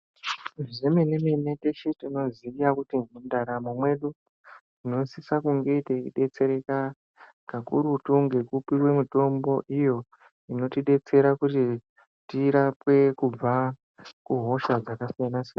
Zvemenemene tinenge techiziya kuti mundaramo medu tinosise kunge teidetsereka kakurutu ngekupiwe mitombo iyo inotidetsera kuti tirapwe kubva kuhosha dzakasiyanasiyana.